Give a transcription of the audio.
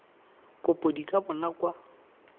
kopo di ka bonwa kwa